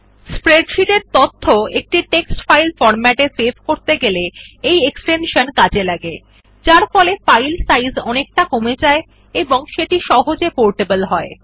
এই স্প্রেডশীট এর তথ্য একটি টেক্সট ফাইল ফরম্যাটে সেভ করতে ব্যবহৃত হয় যারফলে ফাইল সাইজ অনেকটা কমে যায় এবং সেটি সহজে পোর্টেবল হয়